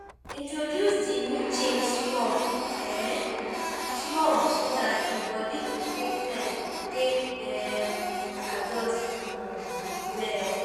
Introduce di new change small um small so dat di body go take time take um adjust um well